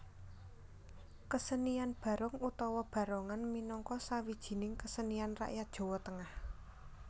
Kesenian Barong utawa Barongan minangka sawijining kesenian rakyat Jowo Tengah